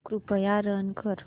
कृपया रन कर